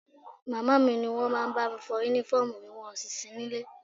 Màmá mi ni wọ́n máa ń bá mi fọ Únífọ́ọ̀mù ́mi wọn ò sì sí nílé